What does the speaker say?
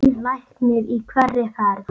Nýr læknir í hverri ferð.